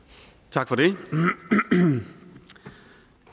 tak for det så